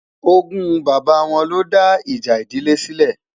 ògún bàbá wọn ló dá ìjà ìdílé sile